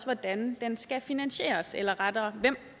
hvordan den skal finansieres eller rettere hvem